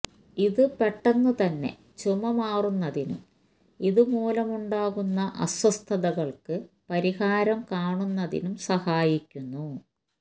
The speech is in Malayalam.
ഇത് പെട്ടെന്ന് തന്നെ ചുമ മാറുന്നതിനും ഇതുമൂലമുണ്ടാകുന്ന അസ്വസ്ഥതകള്ക്ക് പരിഹാരം കാണന്നതിനും സഹായിക്കുന്നു